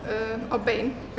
á bein